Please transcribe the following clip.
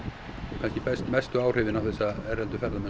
kannski mestu áhrifin á þessa erlendu ferðamenn